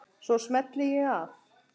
Svo smelli ég af.